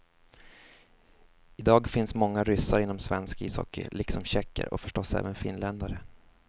I dag finns många ryssar inom svensk ishockey, liksom tjecker och förstås även finländare.